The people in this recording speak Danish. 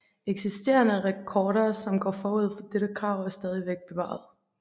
Eksisterende rekorder som går forud for dette krav er stadigvæk bevaret